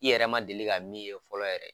I yɛrɛ ma deli ka min ye fɔlɔ yɛrɛ